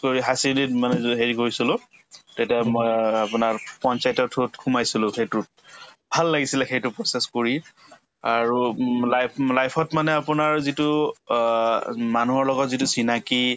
কৰি high secondary ত মানে হেৰি কৰিছিলো তেতিয়া মই আপোনাৰ পঞ্চায়তৰ through ত সোমাইছিলো সেইটোত ভাল লাগিছিলে সেইটো process কৰি আৰু উম life life ত মানে আপোনাৰ যিটো অ মানুহৰ লগত যিটো চিনাকি